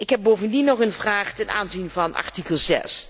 Ik heb bovendien nog een vraag ten aanzien van artikel